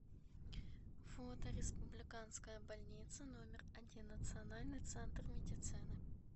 фото республиканская больница номер один национальный центр медицины